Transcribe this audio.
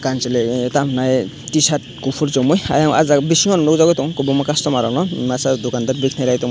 kanchwli ramnae tshirt kufur chumui aing aw jaag o bising no nukjagui tongo kwbangma customer rok no masa dukandar berai tongma.